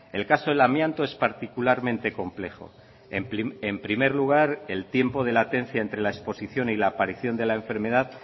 el caso del amianto es particularmente complejo en primer lugar el tiempo de latencia entre la exposición y la aparición de la enfermedad